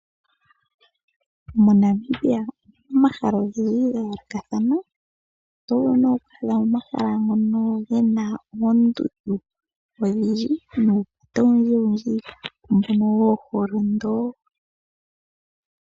Monamibia omu na omahala ogendji ga yoolokathana oto vulu nee okwaadha mo omahala ngoka ge na oondundu odhindji hoka to vulu wo okulonda ko.